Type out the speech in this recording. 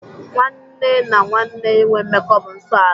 Nwanne na nwenne inwe mmekọ bụ nsọ ala.